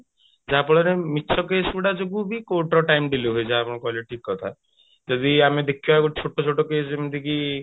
ଯାହା ଫଳରେ ମିଛ case ଗୁଡା ଯୋଗୁ ବି court ର time delay ହୁଏ ଯାହା ଆପଣ କହିଲେ ଠିକ କଥା ଯଦି ଆମେ ଦେଖିବା ଛୋଟ ଛୋଟ case ଯେମିତି କି